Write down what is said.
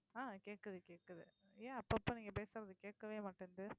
ஆஹ் கேக்குது கேக்குது ஏன் அப்பப்ப நீங்க பேசறது கேக்கவே மாட்டேங்குது